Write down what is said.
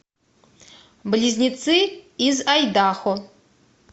близнецы из айдахо